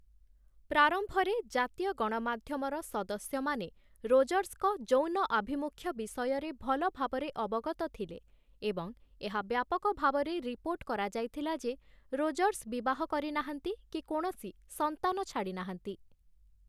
ପ୍ରାରମ୍ଭରେ, ଜାତୀୟ ଗଣମାଧ୍ୟମର ସଦସ୍ୟମାନେ ରୋଜର୍ସଙ୍କ ଯୌନ ଆଭିମୁଖ୍ୟ ବିଷୟରେ ଭଲ ଭାବରେ ଅବଗତ ଥିଲେ ଏବଂ ଏହା ବ୍ୟାପକ ଭାବରେ ରିପୋର୍ଟ କରାଯାଇଥିଲା ଯେ ରୋଜର୍ସ ବିବାହ କରିନାହାନ୍ତି କି କୌଣସି ସନ୍ତାନ ଛାଡ଼ିନାହାନ୍ତି ।